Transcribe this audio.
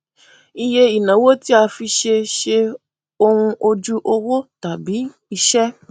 iye ìnáwó tí a fi ṣe ṣe ohun ojú owó tàbí iṣẹ